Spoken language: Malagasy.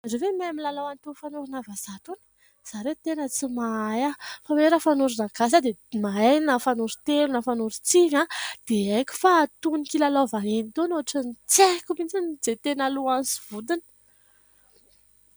Ianareo ve mahay ny lalao an'itony fanorina vahaza itony? Izaho re tena tsy mahay. Fa raha hoe fanorona gasy aho, dia mahay na fanoron-telo na fanoron-tsivy dia aiko. Fa itony kilalao vahiny itony otrany tsy haiko mihintsy ny izay tena lohany sy vodiny.